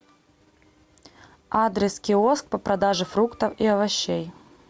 адрес киоск по продаже фруктов и овощей